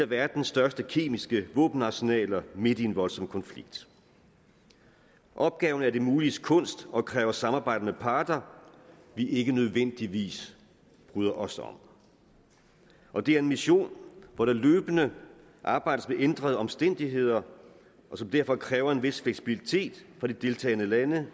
verdens største kemiske våbenarsenaler midt i en voldsom konflikt opgaven er det muliges kunst og kræver samarbejde med parter vi ikke nødvendigvis bryder os om og det er en mission hvor der løbende arbejdes med ændrede omstændigheder og som derfor kræver en vis fleksibilitet fra de deltagende lande